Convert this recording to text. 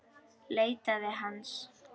Leitaði hans.